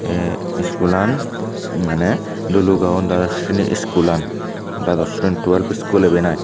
tey school an maneh dulugao dados sreni school an dados shri twelve school iben iy.